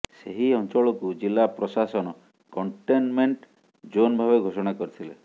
ସେହି ଅଞ୍ଚଳକୁ ଜିଲ୍ଲା ପ୍ରଶାସନ କଣ୍ଟେନମେଣ୍ଟ ଜୋନ୍ ଭାବେ ଘୋଷଣା କରିଥିଲେ